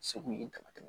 Segu ye dama tɛmɛ